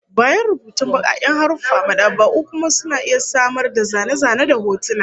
Bayan rubutun bakaken haruffa, mad'aba'u kuma suna iya samar da zane-zane da hotuna